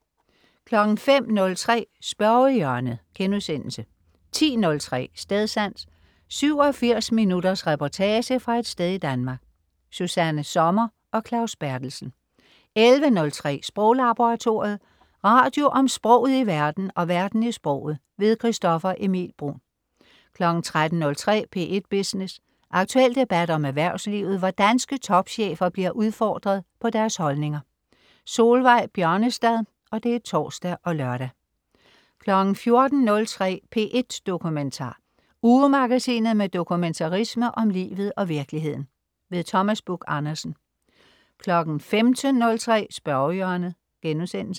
05.03 Spørgehjørnet* 10.03 Stedsans. 87 minutters reportage fra et sted i Danmark. Susanna Sommer og Claus Berthelsen 11.03 Sproglaboratoriet. Radio om sproget i verden og verden i sproget. Christoffer Emil Bruun 13.03 P1 Business. Aktuel debat om erhvervslivet, hvor danske topchefer bliver udfordret på deres holdninger. Solveig Bjørnestad (tors og lør) 14.03 P1 Dokumentar. Ugemagasinet med dokumentarisme om livet og virkeligheden. Thomas Buch-Andersen 15.03 Spørgehjørnet*